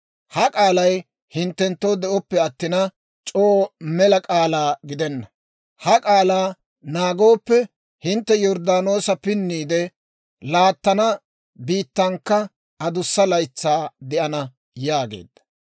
Ha k'aalay hinttenttoo de'oppe attina, c'oo mela k'aalaa gidenna. Ha k'aalaa naagooppe, hintte Yorddaanoosa pinniide laattana biittankka adussa laytsaa de'ana» yaageedda.